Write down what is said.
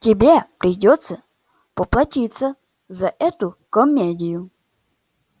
тебе придётся поплатиться за эту комедию